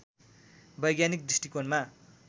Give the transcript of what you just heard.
वैज्ञानिक दृष्टिकोणमा